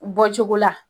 Bɔ cogo la